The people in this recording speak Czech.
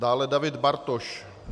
Dále David Bartoš.